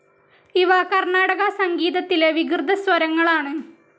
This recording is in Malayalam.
ഇവ കർണാടക സംഗീതത്തിലെ വികൃതസ്വരങ്ങൾ ആണ്.